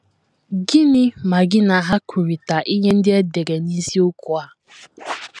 Gịnị ma gị na ha kwurịta ihe ndị e dere n’isiokwu a?